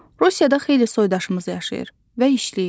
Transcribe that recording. Rusiyada xeyli soydaşımız yaşayır və işləyir.